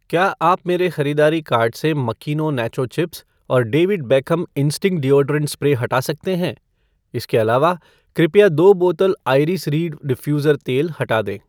क्या आप मेरे ख़रीदारी कार्ट से मकीनो नैचो चिप्स और David Beckham instinct deodorant spray हटा सकते हैं ? इसके अलावा, कृपया दो बोतल आइरिस रीड डिफ्यूज़र तेल हटा दें।